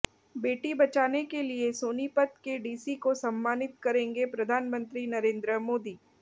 बेटी बचाने के लिए सोनीपत के डीसी को सम्मानित करेंगे प्रधानमंत्री नरेंद्र मोदी